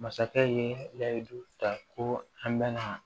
Masakɛ ye yari ta ko an bɛnna